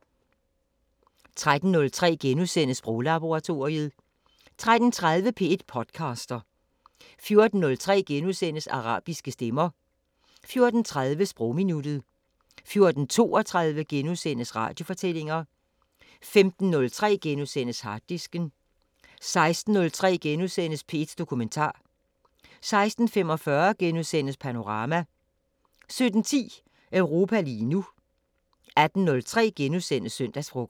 13:03: Sproglaboratoriet * 13:30: P1 podcaster 14:03: Arabiske stemmer * 14:30: Sprogminuttet 14:32: Radiofortællinger * 15:03: Harddisken * 16:03: P1 Dokumentar * 16:45: Panorama * 17:10: Europa lige nu 18:03: Søndagsfrokosten *